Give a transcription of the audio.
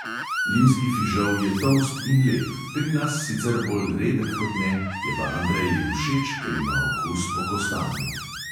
Limski fižol je tolst in lep, pri nas sicer bolj redek kot ne, je pa andreji všeč, ker ima okus po kostanju.